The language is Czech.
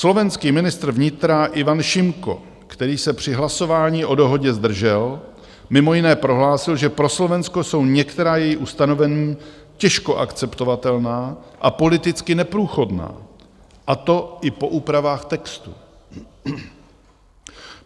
Slovenský ministr vnitra Ivan Šimko, který se při hlasování o dohodě zdržel, mimo jiné prohlásil, že pro Slovensko jsou některá její ustanovení těžko akceptovatelná a politicky neprůchodná, a to i po úpravách textu.